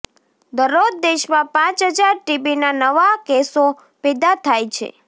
દરરોજ દેશમાં પાંચ હજાર ટીબીના નવા કેસો પેદા થાય છે